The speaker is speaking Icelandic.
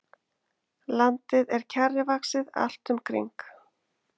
Landið er kjarrivaxið allt um kring.